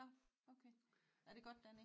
Nå okay det godt dernede?